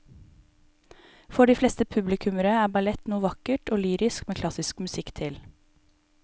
For de fleste publikummere er ballett noe vakkert og lyrisk med klassisk musikk til.